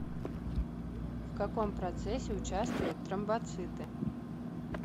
в каком процессе участвуют тромбоциты